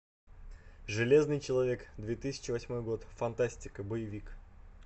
железный человек две тысячи восьмой год фантастика боевик